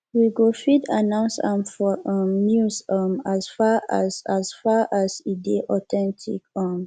we go fit announce am for um news um as far as as far as e dey authentic um